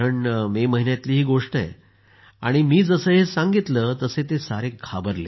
मे महिन्यातली ही गोष्ट आहे आणि मी जसं हे सांगितलं तसं सर्वजण घाबरले